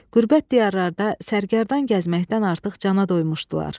Qürbət diyarlarda sərgərdan gəzməkdən artıq cana doymuşdular.